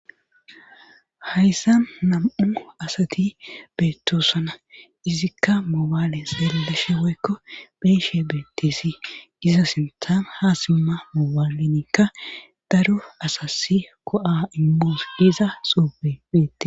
Hayssa nam'u asati beettoosana izikka moobaale selelashe woykko beeshe beettisi iza sinthan ha simma moobaalenikka daro asasi ko'a imbus iza suupe beette